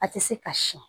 A tɛ se ka siyɛn